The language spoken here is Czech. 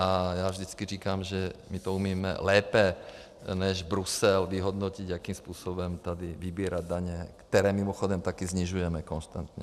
A já vždycky říkám, že my to umíme lépe než Brusel vyhodnotit, jakým způsobem tady vybírat daně, které mimochodem taky snižujeme konstantně.